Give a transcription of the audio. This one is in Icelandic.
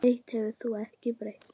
Eitt hefur þó ekki breyst.